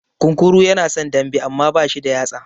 Kunkuru ya na son dambe, amma ba shi da yatsa.